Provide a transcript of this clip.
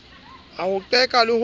a ho qeka le ho